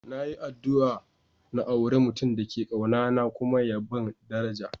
Na yi addu'a n'aura mutum da ke kauna na kuma ya ban daraja.